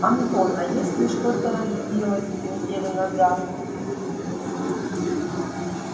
антон а если что-то разбилось неделю назад